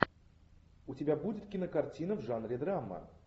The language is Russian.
у тебя будет кинокартина в жанре драма